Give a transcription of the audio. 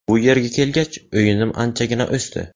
Bu yerga kelgach, o‘yinim anchagina o‘sdi.